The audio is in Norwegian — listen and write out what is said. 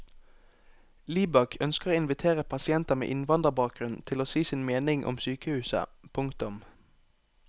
Libak ønsker å invitere pasienter med innvandrerbakgrunn til å si sin mening om sykehuset. punktum